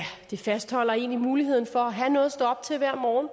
det fastholder en i muligheden for at have noget at stå op til hver morgen